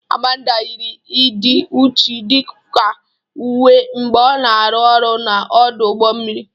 Amanda yiri ịdị uchu dịka uwe mgbe ọ na-arụ ọrụ na ọdụ ụgbọ mmiri.